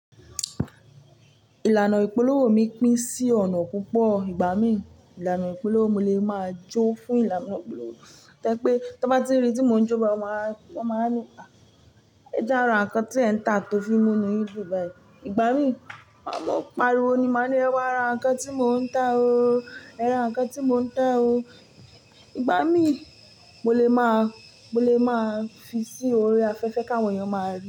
Ìlànà ìpolówó mi pín sí ọ̀nà púpọ̀. Ìgbà mí, ìlànà ìpolówó mi lè máa jó fún ìlànà ìpolówó. Tẹ́ pé, tí wọ́n bá ti rí tí mo ń jó bayii, wọ́n máa, wọ́n máa ní, "ẹ jára, ǹkan tí ẹ̀ ń tà tó fi mú nu yìn dùn báyìí." Ìgbà mí, mo máa ń pariwo ni, máa ní, "ẹ wá ra ǹkan tí mò ń tà o, ẹ ra ǹkan tí mò ń tà o." Ìgbà mí, mo lè máa, mo lè máa fi sí orí afẹ́fẹ́ kí àwọn èèyàn máa ri.